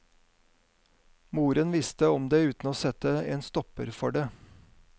Moren visste om det uten å sette en stopper for det.